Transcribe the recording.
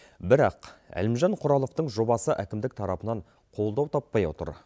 бірақ әлімжан құраловтың жобасы әкімдік тарапынан қолдау таппай отыр